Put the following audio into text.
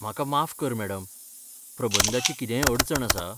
म्हाका माफ कर मॅडम, प्रबंधाची कितेंय अडचण आसा?